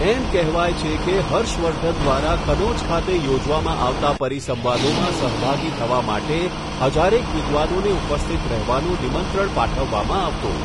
એમ કહેવાય છે કે હર્ષવર્ધન દ્વારા કન્નૌજ ખાતે યોજવામાં આવતા પરીસંવાદોમાં સહભાગી થવા માટે હજારેક વિદ્વાનોને ઉપસ્થિત રહેવાનું નિમંત્રણ પાઠવવામાં આવતું.